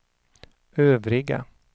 övriga